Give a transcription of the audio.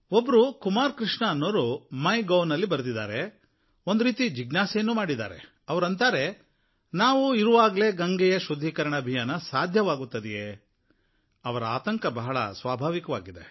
ಒಬ್ಬರು ಕುಮಾರ್ ಕೃಷ್ಣ ಅನ್ನೋರು ಮೈ ಗೌನಲ್ಲಿ ಬರೆದಿದ್ದಾರೆ ಒಂದು ರೀತಿ ಜಿಜ್ಞಾಸೆಯನ್ನೂ ಮಾಡಿದ್ದಾರೆ ಅವರು ಅಂತಾರೆ ನಾವು ಇರುವ ವರೆಗೆ ಗಂಗೆಯ ಶುದ್ಧೀಕರಣ ಅಭಿಯಾನ ಸಾಧ್ಯವಾಗುತ್ತದೆಯೇ ಅವರ ಆತಂಕ ಬಹಳ ಸ್ವಾಭಾವಿಕವಾಗಿದೆ